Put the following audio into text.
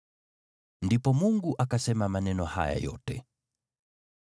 Ndipo Mungu akasema maneno haya yote: